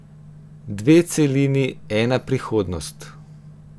Dve celini, ena prihodnost.